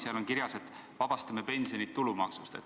Seal on kirjas, et pensionid vabastatakse tulumaksust.